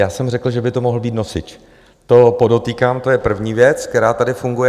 Já jsem řekl, že by to mohl být nosič, to podotýkám, to je první věc, která tady funguje.